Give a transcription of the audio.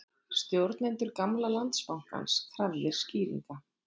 Stjórnendur gamla Landsbankans krafðir skýringa